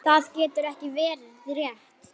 Það getur ekki verið rétt.